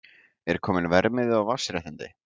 Er kominn verðmiði á vatnsréttindi?